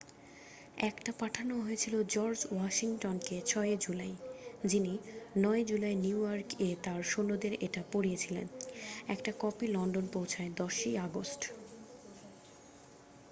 1 টা পাঠানো হয়েছিল জর্জ ওয়াশিংটন-কে ছয় জুলাই যিনি 9 জুলাই নিউইয়র্ক-এ তার সৈন্যদের এটা পড়িয়েছিলেন একটা কপি লন্ডন পৌঁছায় 10 ই আগস্ট